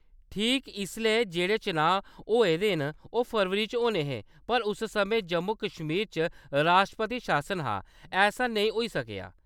ठीक इसलै जेह्‌‌ड़े चुनांऽ होए दे न, ओह् फरवरी च होने हे, पर उस समें जम्मू-कश्मीर च राश्ट्रपति शासन हा, ऐसा नेईं होई सकेआ।